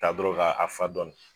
Ta dɔron ka fa dɔɔni.